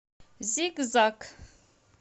зигзаг